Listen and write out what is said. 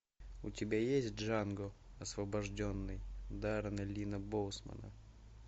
у тебя есть джанго освобожденный даррена линна боусмана